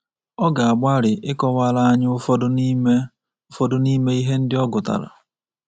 Ọ ga-agbalị ịkọwara anyị ụfọdụ n’ime ụfọdụ n’ime ihe ndị ọ gụtara.